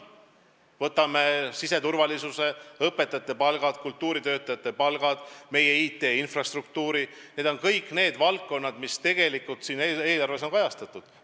Võtame siseturvalisuse, õpetajate palgad, kultuuritöötajate palgad, meie IT infrastruktuuri – need on kõik valdkonnad, mis on eelarves kajastatud.